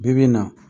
Bi bi in na